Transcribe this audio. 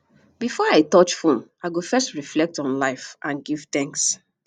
before i touch phone i go first reflect on life and give thanks